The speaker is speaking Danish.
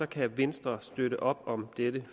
kan venstre støtte op om dette